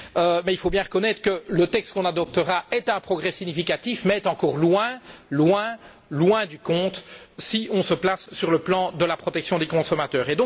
Cependant, il faut bien reconnaître que, si le texte qu'on adoptera représente un progrès significatif, il est encore loin, bien loin du compte si on se place sur le plan de la protection des consommateurs.